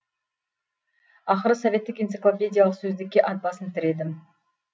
ақыры советтік энциклопедиялық сөздікке ат басын тіредім